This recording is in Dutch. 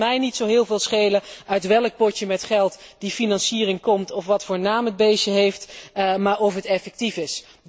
En dan kan het mij niet zo heel veel schelen uit welk potje met geld die financiering komt of wat voor naam het beestje heeft, maar wel of het effectief is.